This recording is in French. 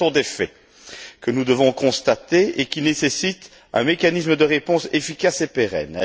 Mais ce sont des faits que nous devons constater et qui nécessitent un mécanisme de réponse efficace et pérenne.